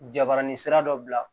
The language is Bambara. Jabaranin sira dɔ bila